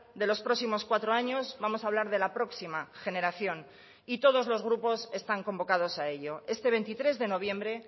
de los próximos cuatro años vamos a hablar de la próxima generación y todos los grupos están convocados a ello este veintitrés de noviembre